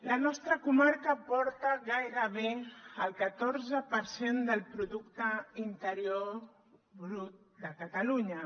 la nostra comarca aporta gairebé el catorze per cent del producte interior brut de catalunya